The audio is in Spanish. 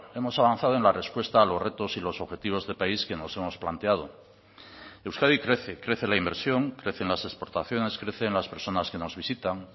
hemos avanzado en la respuesta a los retos y los objetivos de país que nos hemos planteado euskadi crece crece la inversión crecen las exportaciones crecen las personas que nos visitan